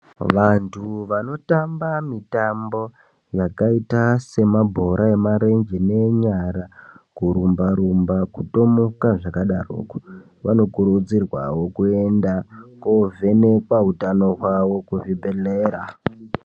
Vantu vanotamba mitambo yakaita semabhora emarenje neenyara, kurumba-rumba, kutomuka, zvakadaroko vanokurudzirwa kuvhenekwa utano hwavo kuchibhebhedhlera.